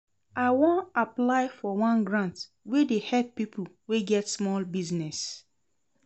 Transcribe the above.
I wan apply for one grant wey dey help pipo wey get small business.